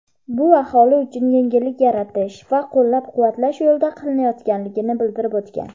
bu aholi uchun yengillik yaratish va qo‘llab-quvvatlash yo‘lida qilinayotganligini bildirib o‘tgan.